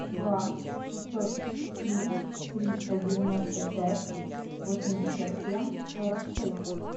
два шестьсот три триста девяносто пять восемьдесят семь сорок шесть